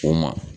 O ma